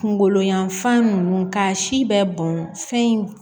Kungolo yanfan nunnu ka si bɛɛ bɔn fɛn in